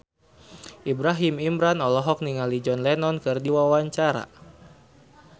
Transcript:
Ibrahim Imran olohok ningali John Lennon keur diwawancara